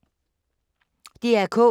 DR K